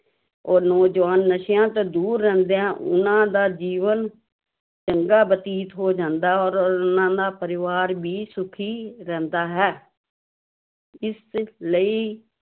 ਔਰ ਨੌਜਵਾਨ ਨਸ਼ਿਆਂ ਤੋਂ ਦੂਰ ਰਹਿੰਦੇ ਹਨ ਉਹਨਾਂ ਦਾ ਜੀਵਨ ਚੰਗਾ ਬਤੀਤ ਹੋ ਜਾਂਦਾ ਔਰ ਉਹਨਾਂ ਦਾ ਪਰਿਵਾਰ ਵੀ ਸੁੱਖੀ ਰਹਿੰਦਾ ਹੈ ਇਸ ਲਈ